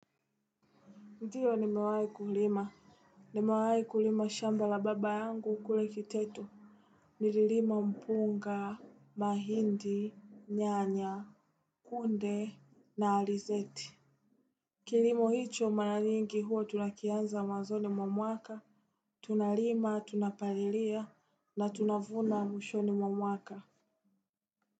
Ndiyo nimewai kulima. Nimewai kulima shamba la baba yangu kule kiteto. Nililima mpunga, mahindi, nyanya, kunde, na alizeti. Kilimo hicho mara nyingi huwa tunakianza mwanzoni mwa mwaka. Tunalima, tunapalilia, na tunavuna mwishoni mwa mwaka.